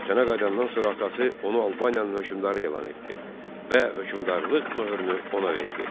Vətənə qayıdandan sonra atası onu Albaniyanın hökmdarı elan etdi və hökmdarlıq möhrünü ona verdi.